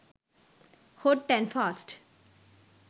hot and fast